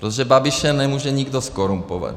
Protože Babiše nemůže nikdo zkorumpovat.